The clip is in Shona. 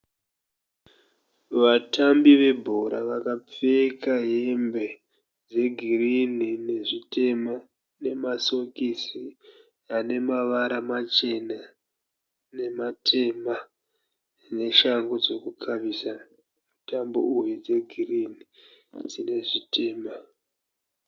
Vatambi vebhora vakapfeka hembe dzegirinhi nezvitema, nemasokisi anemavara machena nematema, neshangu dzekukawisa mutambo uyu dzegirinhi asi nezvitema.